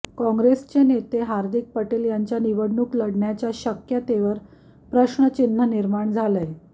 काँग्रेसचे नेते हार्दिक पटेल यांच्या निवडणूक लढण्याच्या शक्यतेवर प्रश्नचिन्ह निर्माण झालंय